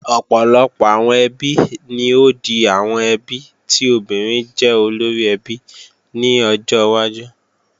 Ọ̀pọ̀lọpọ̀ àwọn ẹbí ni ó di àwọn ẹbí tí obìnrin jẹ́ olóríẹbí ní ọjọ́ wájú